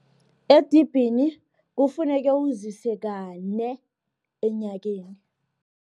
Edibhini, kufuneke uzise kane enyakeni.